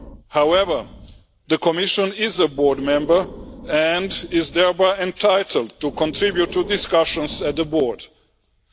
However, the Commission is a Board member and is thereby entitled to contribute to discussions at Board level.